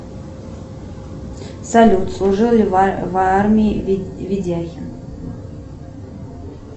салют служил ли в армии ведяхин